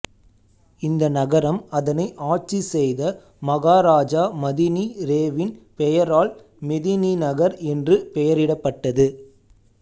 இந்த நகரம் அதனை ஆட்சி செய்த மகாராஜா மதினி ரேவின் பெயரால் மெதினிநகர் என்று பெயரிடப்பட்டது